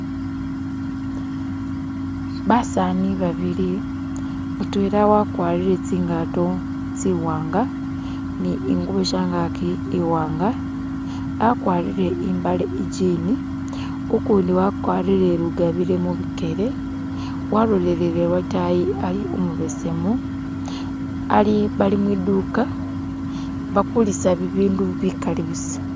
Basani babili, mutwela wakwarire tsi'ngato tsi'wanga ni ingubo shangaki i'wanga, akwarire imbale i'jini, ukundi wakwarire lugabire mubikele walolelele lwotayi, ali umubesemu, bali mwiduka bakulisa bibindu bikali busa